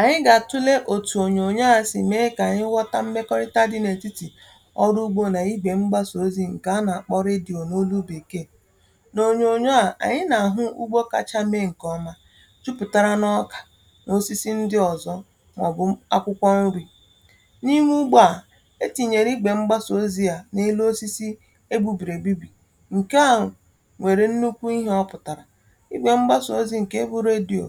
ànyị gà-àtụle òtù ònyònyo àsị, um mee kà ànyị ghọta mmekọrịta dị n’ètitì ọrụ ugbȯ nà ibè mgbasà ozi̇. ǹkè a nà-àkpọrọ ịdị̇ onu olu bì kee, um n’ònyònyo à ànyị nà-àhụ, ugbȯ kacha mee ǹkè ọma tupùtara n’ọkà n’osisi ndị ọ̀zọ, mà ọ̀ bụ akwụkwọ nri̇. N’iwu̇ ugbȯ à e tìnyèrè ibè mgbasà ozi̇ à n’elu osisi e gbubìrì ebì, ǹkè ahụ̀ nwèrè nnukwu ihe ọ pụ̀tàrà i gbė mgbasà ozi̇ ǹkè e bụ̇ radio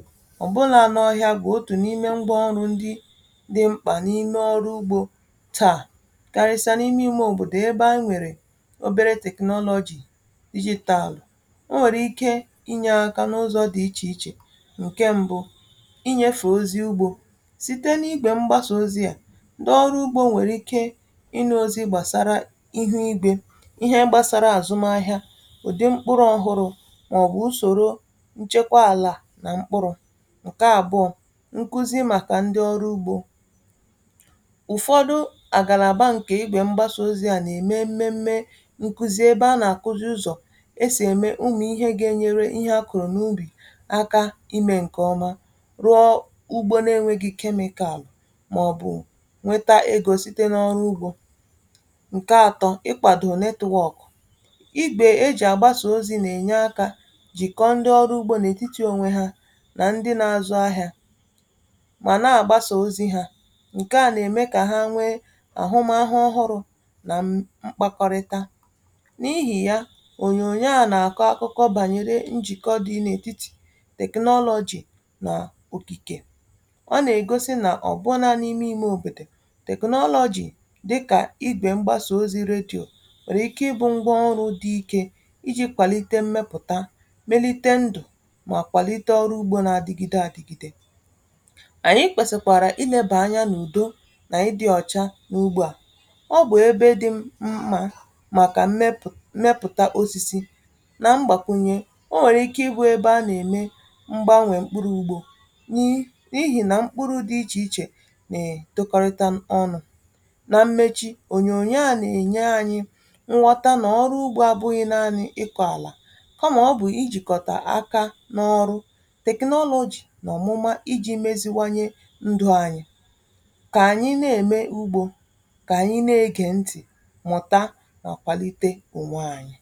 dị mkpà n’ime ọrụ ugbȯ taà, um karịsà n’ime ime òbòdò ebe a nwèrè obere technology digital.O nwèrè ike inyė aka n’ụzọ̇ dị̀ ichè ichè. ǹke m̀bụ, inyė fèe ozi ugbȯ site n’igbė mgbasà ozi à, um ndị ọrụ ugbȯ nwèrè ike inu̇ ozi gbàsara ihu igbė ihe gbasara àzụm ahịȧ, ụ̀dị mkpụrụ ọhụrụ̇, màọbụ̀ usòro nchekwa àlà nà mkpụrụ̇. Ǹkuzi màkà ndi ọrụ ugbȯ ụ̀fọdụ àgàlà bà ǹkè igbè mgbasa ozi̇ à nà-ème mmėmmė ǹkuzi, ebe a nà-àkụzị ụzọ̀ e sì ème umù ihe gȧ-ėnyere ihe akụ̀rụ̀ n’ubì aka imė ǹkè ọma, rụọ ugbȯ na-enwėghi̇ chemical, mà ọ̀ bụ̀ nweta egȯ site n’ọrụ ugbȯ.ǹkè atọ, ị kwàdò network igbė e jì àgbasa ozi̇, nà-ènye akȧ jìkọ ndi ọrụ ugbȯ nà ètitì ònwe hȧ nà ndi na-azụ ahịȧ, um mà na gbasà ozi̇ hȧ. ǹkè à nà-ème kà ha nwee àhụmahụ ọhụrụ̇ nà mkpakọrịta. N’ihì ya, ònyònyo à nà-àkọ akụkọ bànyere njìkọ dị n’ètitì technology nà ògìkè. Ọ nà-ègosi nà ọ̀bụ na n’ime imė òbòdò, technology dịkà igbè mgbasà ozi̇ radio nwèrè ike ịbụ̇ ngwa ọrụ dị ike iji̇ kwàlite mmepụ̀ta, um melite ndụ̀, mà kwàlite ọrụ ugbȯ na-adịgịde àdịgịdị.ànyị kwèsekwàrà ilėbà anya n’ùdo nà ịdị̇ ọ̀cha n’ugbu à ọ bụ̀ ebe dị mma màkà mmepụ̀ta osisi nà mgbàkwùnye. O nwèrè ike ịbụ̇ ebe a nà-ème m̀gbanwè mkpụrụ ugbȯ, nyi n’ihì nà mkpụrụ̇ dị ichè ichè nà è tokọrịta ọnụ̇. Nà mmechi, ònyònyo a nà-ènye ànyị kà anyị nà-ème ugbȯ, kà anyị nà-ege ntị̀, um mụ̀ta nà kwàlite ụmụ̀ anyị̇.